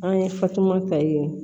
An ye fatumata ye